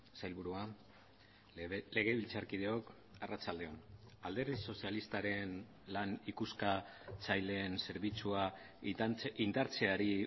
sailburua legebiltzarkideok arratsalde on alderdi sozialistaren lan ikuskatzaileen zerbitzua indartzeari